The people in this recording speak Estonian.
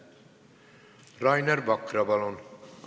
Rainer Vakra, palun!